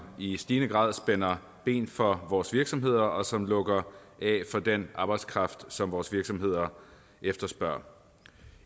i stigende grad spænder ben for vores virksomheder og som lukker af for den arbejdskraft som vores virksomheder efterspørger